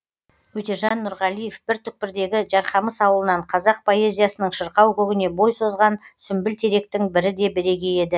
өтежан нұрғалиев бір түкпірдегі жарқамыс ауылынан қазақ поэзиясының шырқау көгіне бой созған сүмбіл теректің бірі де бірегейі еді